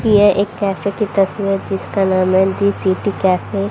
ये एक कैफे की तस्वीर जिसका नाम है डी_सी_टी ।